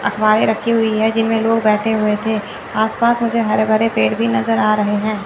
अखबारे रखी हुई है जिनमें लोग बैठे हुए थे आस पास मुझे हरे भरे पेड़ भी नजर आ रहे हैं।